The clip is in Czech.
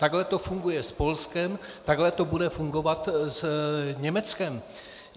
Takhle to funguje s Polskem, takhle to bude fungovat s Německem.